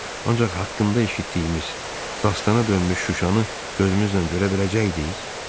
Ancaq haqqında eşitdiyimiz, dastana dönmüş Şuşanı gözümüzlə görə biləcəkdik?